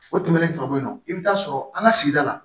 O tɛmɛnen ka bɔ yen nɔ i bɛ taa sɔrɔ an ka sigida la